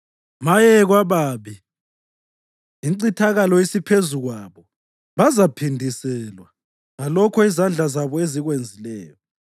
Maye kwababi! Incithakalo isiphezu kwabo! Bazaphindiselwa ngalokho izandla zabo ezikwenzileyo.